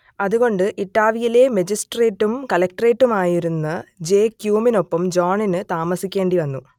അതുകൊണ്ട് ഇട്ടാവയിലെ മജിസ്ട്രേറ്റും കളക്റ്ററേറ്റുമായിരുന്ന ജെ ക്യുമിനൊപ്പം ജോണിന് താമസിക്കേണ്ടി വന്നു